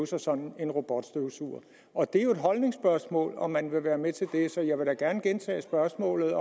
sig sådan en robotstøvsuger det er jo et holdningsspørgsmål om man vil være med til det så jeg vil da gerne gentage spørgsmålet